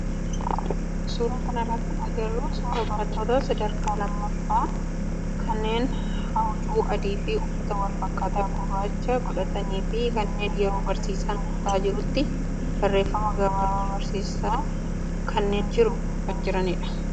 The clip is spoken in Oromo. Suuraa kanarraa kan agarru suuraa barattoota sadarkaa lammaffaa kanneen huccuu adii fi uffata wal fakkaataa gurraachaa godhatanii fi kanneen yeroo barsiisaan kutaa jirutti barreeffama gabaabaa barsiisaan kennaan jiru barreessaa jiranidha.